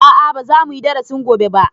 A'a ba za muyi darasin gobe ba